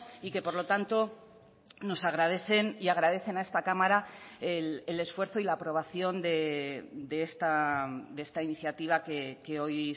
y que por lo tanto nos agradecen y agradecen a esta cámara el esfuerzo y la aprobación de esta iniciativa que hoy